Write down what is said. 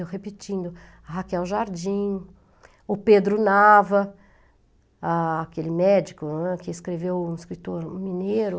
Eu repetindo, Raquel Jardim, o Pedro Nava, aquele médico né, que escreveu um escritor um mineiro.